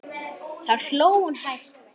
Þá hló hún hæst.